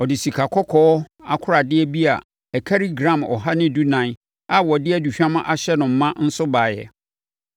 Ɔde sikakɔkɔɔ akoradeɛ bi a ɛkari gram ɔha ne dunan (114) a wɔde aduhwam ahyɛ no ma nso baeɛ.